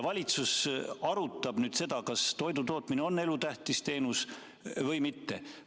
Valitsus arutab nüüd seda, kas toidutootmine on elutähtis teenus või mitte.